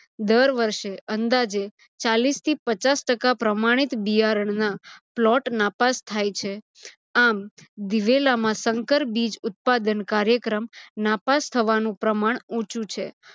દર વષેૅ અંદાજે ચાલીસથી પચાસ ટકા પ્રમાણીત બિયારણના plot નાપાસ થાય છે. આમ દિવેલામાં સંકર બીજ ઉત્પાદન કાયૅક્રમ નાપાસ થવાનું પ્રમાણ ઊંચુ છે.